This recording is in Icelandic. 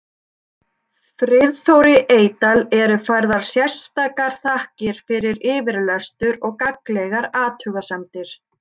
Friðþóri Eydal eru færðar sérstakar þakkir fyrir yfirlestur og gagnlegar athugasemdir.